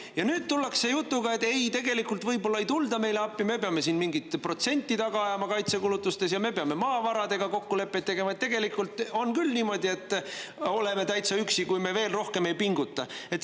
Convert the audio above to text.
Aga nüüd tullakse jutuga, et ei, tegelikult võib-olla ei tulda meile appi, me peame siin mingit kaitsekulutuste protsenti taga ajama ja me peame maavarade suhtes kokkuleppeid tegema, et tegelikult on küll niimoodi, et me oleme täitsa üksi, kui me veel rohkem ei pinguta.